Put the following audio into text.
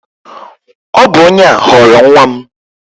Ọ bụ onye a ghọrọ nwa m